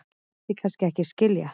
vildi kannski ekki skilja